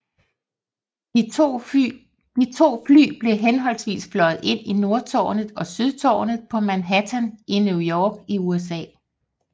De to fly blev henholdsvis fløjet ind i Nordtårnet og Sydtårnet på Manhattan i New York i USA